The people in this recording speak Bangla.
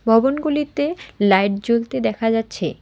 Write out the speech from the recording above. ভবনগুলিতে লাইট জ্বলতে দেখা যাচ্ছে।